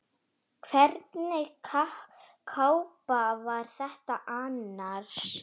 Hvernig kápa var þetta annars?